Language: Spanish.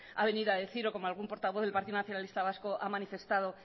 ha venido a decir o como algún portavoz del partido nacionalista vasco ha manifestado